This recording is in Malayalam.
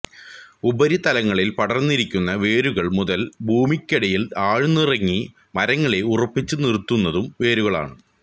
ഉപരിതലങ്ങളിൽ പടർന്നിരിക്കുന്ന വേരുകൾ മുതൽ ഭൂമിക്കടിയിൽ ആഴ്ന്നിറങ്ങി മരങ്ങളെ ഉറപ്പിച്ച് നിർത്തുന്നതും വേരുകളാണ്